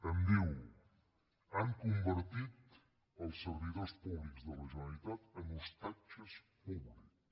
em diu han convertit els servidors públics de la generalitat en ostatges públics